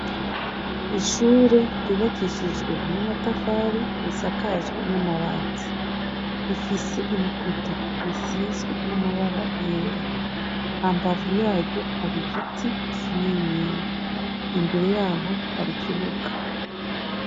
Ishure ryubakishijwe n'amatafari risakajwe n'amabati rifise ibikuta bisizwe n'amabara yera; hambavu yaryo har'igiti kininiya; imbere yaho har'ikibuga.